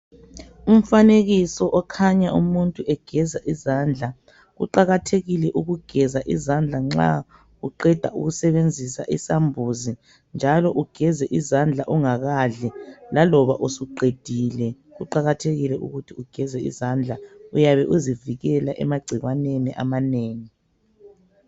Umfanekiso okhanya umuntu egeza izandla. Kuqakathekile Ukugeza izandla nxa uqeda ukusebenzisa isambuzi njalo ugeze izandla ungakadli laloba usuqedile kuqakathekile ukuthi ugeze izandla, uyabe uzivikela emagcikwaneni amanengi.